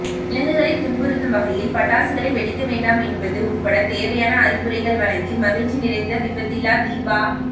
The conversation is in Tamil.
விலங்குகளை துன்புறுத்தும் வகையில் பட்டாசுகளைவெடிக்க வேண்டாம் என்பது உட்பட தேவையான அறிவுரைகள் வழங்கிமகிழ்ச்சி நிறைந்த விபத்தில்லா தீபா